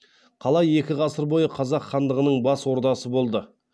қала екі ғасыр бойы қазақ хандығының бас ордасы болды